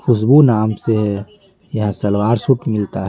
खुशबू नाम से यहाँ सलवार सूट मिलता है।